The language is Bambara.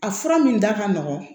A fura min da ka nɔgɔn